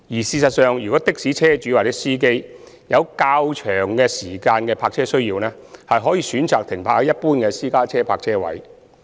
事實上，若的士車主或司機有較長時間的泊車需要，可選擇停泊在一般的私家車泊車位。